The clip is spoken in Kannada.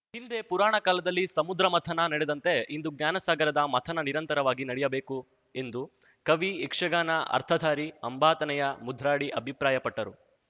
ಹಿಂದೆ ಪುರಾಣ ಕಾಲದಲ್ಲಿ ಸಮುದ್ರಮಥನ ನಡೆದಂತೆ ಇಂದು ಜ್ಞಾನಸಾಗರದ ಮಥನ ನಿರಂತರವಾಗಿ ನಡೆಯಬೇಕು ಎಂದು ಕವಿ ಯಕ್ಷಗಾನ ಅರ್ಥಧಾರಿ ಅಂಬಾತನಯ ಮುದ್ರಾಡಿ ಅಭಿಪ್ರಾಯಪಟ್ಟರು